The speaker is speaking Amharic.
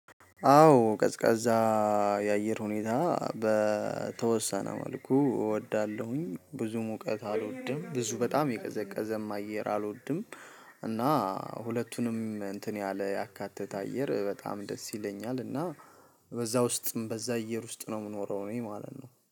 አዎ ቀዝቃዛ የአየር ሁኔታ በተወሰነ መልኩ እወዳለሁ ብዙ ሙቀት አልወድም ብዙ በጣም የቀዘቀዘም አየር አልወድም። እና ሁለቱንም እንትን ያለ ያካተተ አየር በጣም ደስ ይለኛል ና። በዛ ውስጥም በዛ አየር ውስጥ ነው የምኖረው እኔ ማለት ነው